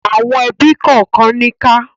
Àwọn ẹbí kànkan níkà.